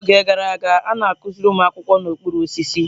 N'oge gara aga, a na-akụziri ụmụ akwụkwọ n'okpuru osisi.